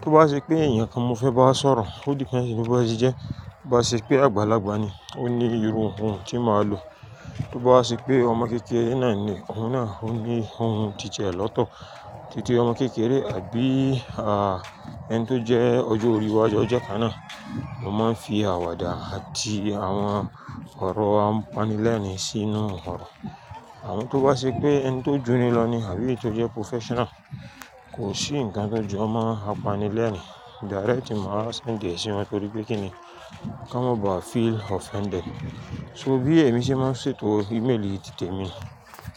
Tí ó bá ṣe pé ènìyàn kan mo fẹ́ bá sọ̀rọ̀, o depends níbí ẹni tí jẹ́. Bí ó ṣe pé àgbàlagbà ni, ó ní iru ohùn tí màá lò. Bí ó bá ṣe pé ọmọ kékeré náà ni, òun náà ó ní ohùn titi ẹ̀ lọ́tọ̀. Títí ọmọ kékeré àbí ẹni tó jẹ́ ọjọ́-orí wájú ọjọ́ kan náà, mo máa ń fi àwàdà àti àwọn ọ̀rọ̀ apanilẹ́rìn sínú ǹkan. Àmọ́ tó bá ṣe pé ẹni tó jóni lọ ni àbí ẹni tó jẹ́ professional, kò sí ǹkan tó jọ̀ọ́ máa apanilẹ́rìn. Directly màá send ẹ́ sí wọn torí pé kí ni, kí wọ́n máa ba feel offended. So bí èmi ṣe máa ń ṣètò ímeèlì títí èmi.